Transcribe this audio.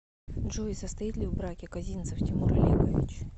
джой состоит ли в браке козинцев тимур олегович